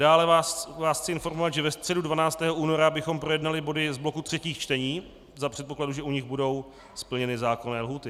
Dále vás chci informovat, že ve středu 12. února bychom projednali body z bloku třetích čtení za předpokladu, že u nich budou splněny zákonné lhůty.